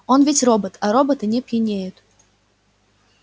он ведь робот а роботы не пьянеют